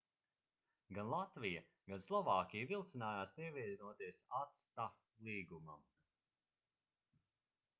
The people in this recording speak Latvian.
gan latvija gan slovākija vilcinājās pievienoties acta līgumam